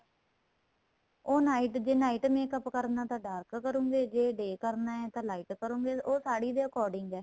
ਉਹ night ਜੇ night makeup ਕਰਨਾ ਤਾਂ dark ਕਰੋਗੇ ਤੇ ਜੇ day ਕਰਨਾ ਤੇ light ਕਰੋਗੇ ਉਹ ਸਾੜੀ ਦੇ according ਏ